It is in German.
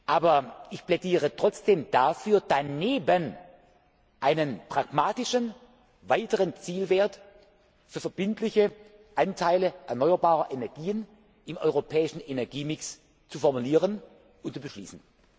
ist. Aber ich plädiere trotzdem dafür, daneben einen pragmatischen weiteren Zielwert für verbindliche Anteile erneuerbarer Energien im europäischen Energiemix zu formulieren und zu beschließen.